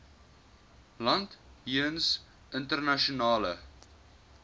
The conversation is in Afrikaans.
land jeens internasionale